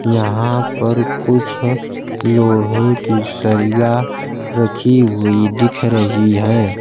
यहां पर कुछ लोहे की सरिया रखी हुई दिख रही हैं।